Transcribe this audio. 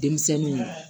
Denmisɛnninw